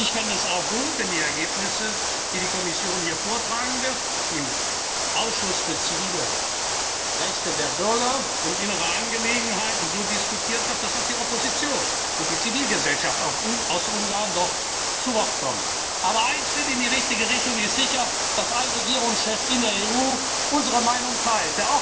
kommt. Ich fände es auch gut, wenn die Ergebnisse, die die Kommission hier vortragen wird, im Ausschuss für bürgerliche Rechte, Justiz und Inneres so diskutiert wird, dass auch die Opposition und die Zivilgesellschaft aus Ungarn noch zu Wort kommen. Aber ein Schritt in die richtige Richtung ist sicher, dass ein Regierungschef in der EU unsere Meinung